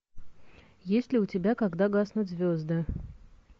есть ли у тебя когда гаснут звезды